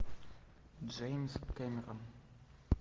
джеймс кэмерон